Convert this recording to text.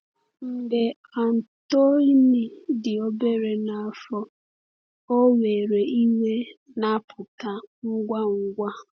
Mgbe Antoine dị obere n’afọ, ọ nwere iwe na-apụta ngwa ngwa.